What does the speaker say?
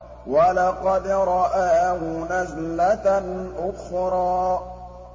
وَلَقَدْ رَآهُ نَزْلَةً أُخْرَىٰ